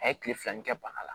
A ye kile fila nin kɛ bana la